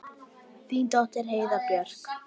Þín dóttir Heiða Björk.